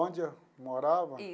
Onde eu morava?